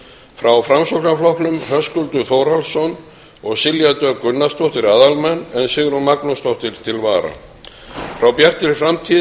frá framsóknarflokknum höskuldur þórhallsson og silja dögg gunnarsdóttir aðalmenn en sigrún magnúsdóttir til vara frá bjartri framtíð